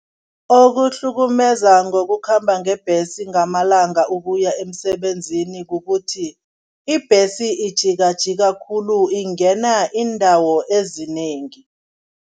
Okuhlukumeza ngokukhamba ngebhesi ngamalanga ukuya emsebenzini kukuthi, ibhesi ijikajika khulu, ingena iindawo ezinengi.